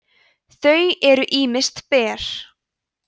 þau eru ýmist ber